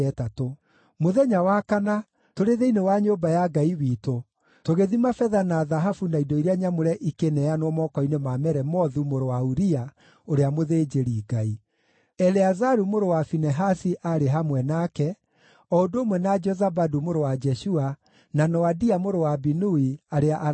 Mũthenya wa kana, tũrĩ thĩinĩ wa nyũmba ya Ngai witũ, tũgĩthima betha na thahabu na indo iria nyamũre ikĩneanwo moko-inĩ ma Meremothu mũrũ wa Uria, ũrĩa mũthĩnjĩri-Ngai. Eleazaru mũrũ wa Finehasi aarĩ hamwe nake, o ũndũ ũmwe na Jozabadu mũrũ wa Jeshua, na Noadia mũrũ wa Binui, arĩa Alawii.